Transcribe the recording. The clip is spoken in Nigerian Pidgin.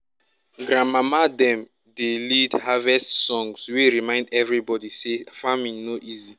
grandmamas dem dey lead harvest songs wey remind everybody say farming no easy.